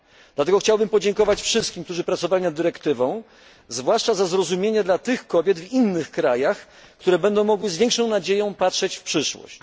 Dlatego chciałbym podziękować wszystkim, którzy pracowali nad tą dyrektywą, zwłaszcza za zrozumienie dla kobiet w innych krajach, które będą mogły z większą nadzieją patrzeć w przyszłość.